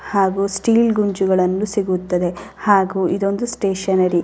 ಹಾಗು ಸ್ಟೀಲ್ ಗುಂಜಿಗಳನ್ನು ಸಿಗುತ್ತದೆ ಹಾಗು ಇದೊಂದು ಸ್ಟೇಷನರಿ .